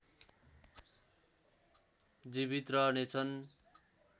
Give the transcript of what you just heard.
जीवित रहनेछन्